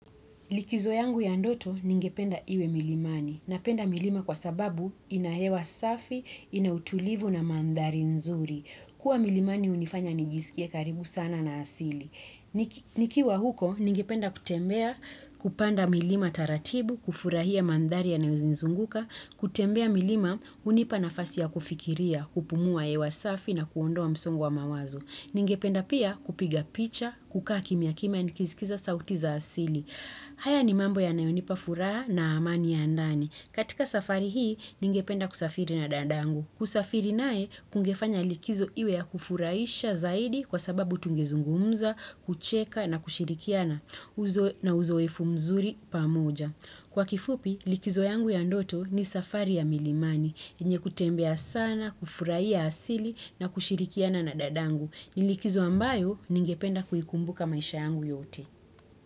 Likizo yangu ya ndoto ningependa iwe milimani. Napenda milima kwa sababu ina hewa safi, ina utulivu na mandhari nzuri. Kuwa milimani hunifanya nijisikie karibu sana na asili. Nikiwa huko ningependa kutembea kupanda milima taratibu, kufurahia mandhari yanayonizunguka, kutembea milima hunipa nafasi ya kufikiria, kupumua hewa safi na kuondoa msongo wa mawazo. Ningependa pia kupiga picha, kukaa kimya kimya, nikisikiza sauti za asili. Haya ni mambo yanayonipa furaha na amani ya ndani. Katika safari hii, ningependa kusafiri na dadangu. Kusafiri naye, kungefanya likizo iwe ya kufurahisha zaidi kwa sababu tungezungumza, kucheka na kushirikiana na uzoefu mzuri pamoja. Kwa kifupi, likizo yangu ya ndoto ni safari ya milimani, yenye kutembea sana, kufurahia asili na kushirikiana na dadangu. Ni likizo ambayo ningependa kuikumbuka maisha yangu yote.